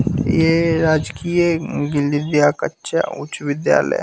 ये राजकीय कच्चा उच्च विद्यालय --